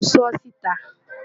mo sọ ọ́ síta